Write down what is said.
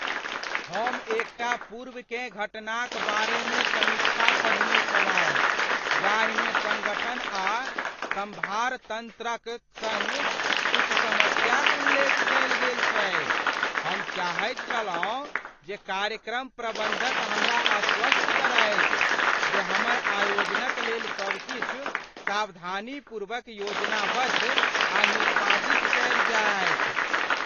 हम एकटा पूर्वकेँ घटनाक बारेमे समीक्षा पढ़ने छलहुँ जाहिमे सङ्गठन आ सम्भार तंत्र क सङ्ग किछु समस्याक उल्लेख कयल गेल छै। हम चाहैत छलहुँ जे कार्यक्रम प्रबन्धक हमरा आश्वस्त करथि जे हमर आयोजनक लेल सब किछु सावधानीपूर्वक योजनाबद्ध आ निष्पादित कयल जायत।